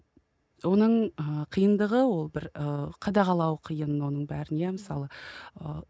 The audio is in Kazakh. оның ы қиындығы ол бір ы қадағалау қиын оның бәрін иә мысалы ыыы